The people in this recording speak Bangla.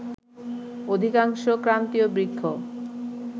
অধিকাংশ ক্রান্তীয় বৃক্ষ